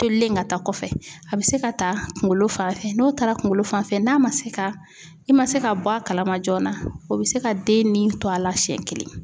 Tolilen ka taa kɔfɛ, a be se ka ta kunkolo fan fɛ n'o taara kunkolo fan fɛ n'a ma se ka, i ma se ka bɔ a kalama joona o be se ka den ni to a la siɲɛ kelen.